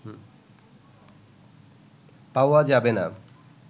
পাওয়া যাবেনা"